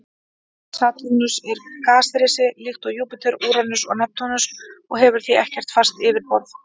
Satúrnus er gasrisi líkt og Júpíter, Úranus og Neptúnus og hefur því ekkert fast yfirborð.